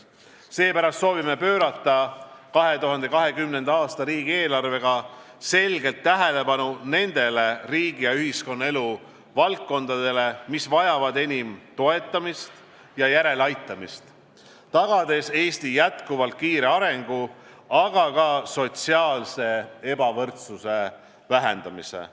Seepärast soovime pöörata 2020. aasta riigieelarvega selgelt tähelepanu nendele riigi- ja ühiskonnaelu valdkondadele, mis vajavad enim toetamist ja järeleaitamist, tagades Eesti jätkuvalt kiire arengu, aga ka sotsiaalse ebavõrdsuse vähendamise.